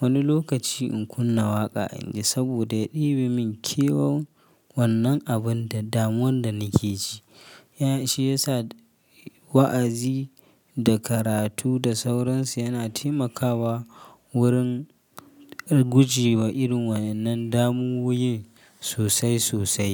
Wani lokaci in kunna waƙa in ji saboda ya ɗibe min kewan wannan abinda damuwan da nake ji. Ya shi yasa wa'azi da karatu da sauransu yana taimakawa wurin guje wa irin wannan damuwoyi sosai sosai.